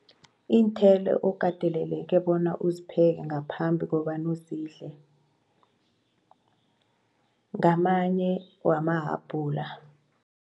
Iinthelo okateleleke bona uzipheke ngaphambi kobana uzidle ngamanye wamahabhula.